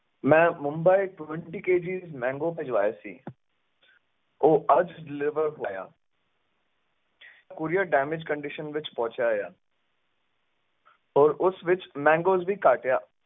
ਮੈਂ Mumbai Twenty KG mango ਭਿਜਵਾਏ ਸੀ ਉਹ ਅੱਜ deliver ਹੋਇਆ courier damage condition ਵਿਚ ਪਹੁੰਚਿਆ ਆ ਹੋਰ ਉਸ ਵਿਚ mangoes ਵੀ ਘੱਟ ਆ।